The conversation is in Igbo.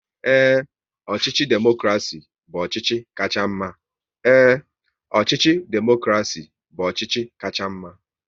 Ee, ọchịchị demokrasi bụ ọchịchị kacha mma